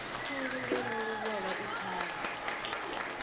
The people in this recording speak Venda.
khulu ngeno luvhola i thavha